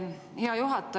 Hea juhataja!